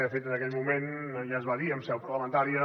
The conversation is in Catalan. de fet en aquell moment ja es va dir en seu parlamentària